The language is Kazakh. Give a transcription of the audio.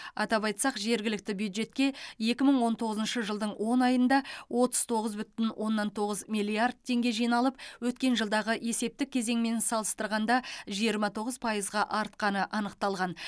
атап айтсақ жергілікті бюджетке екі мың он тоғызыншы жылдың он айында отыз тоғыз бүтін оннан тоғыз миллиард теңге жиналып өткен жылдағы есептік кезеңмен салыстырғанда жиырма тоғыз пайызға артқаны анықталған